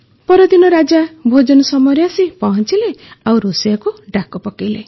ପରଦିନ ରାଜା ଭୋଜନ ସମୟରେ ଆସି ପହଂଚିଲେ ଓ ରୋଷେଇୟାକୁ ଡାକ ପକାଇଲେ